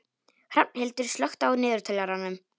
Hrafnhildur, slökktu á niðurteljaranum.